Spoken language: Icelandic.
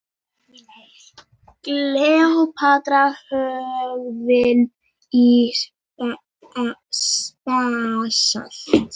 Kleópatra höggvin í basalt.